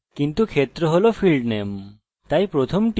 কিন্তু ক্ষেত্র হল fieldname তাই প্রথমটি id হতে যাচ্ছে